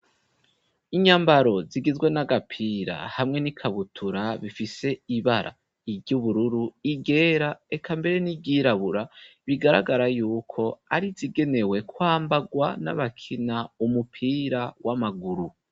Inyambaro zigizwe n'agapira hamwe n'ikabutura bifise ibara ry'ubururu ,i ryera reka mbere n'ibyirabura bigaragara yuko ari zigenewe kwambagwa n'abakina umupira w'amaguru.